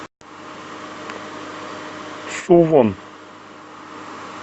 сувон